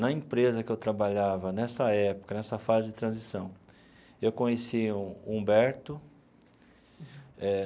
Na empresa que eu trabalhava nessa época, nessa fase de transição, eu conheci o Humberto eh.